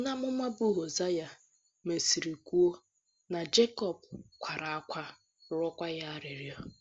Onye amụma bụ́ Hozea mesịrị kwuo na Jekọb “ kwara ákwá, rịọkwa ya arịrịọ. ”